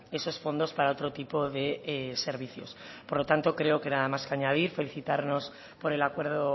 esos fondos para otro tipo de servicios por lo tanto creo que nada más que añadir felicitarnos por el acuerdo